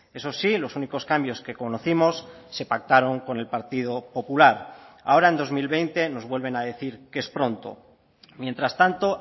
eso sí los únicos cambios que conocimos se pactaron con el partido popular ahora en dos mil veinte nos vuelven a decir que es pronto mientras tanto